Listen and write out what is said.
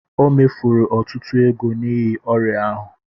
O mefuru ọtụtụ ego n'ihi ọrịa ahụ